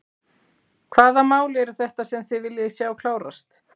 Hvaða mál eru þetta sem þið viljið sjá klárast?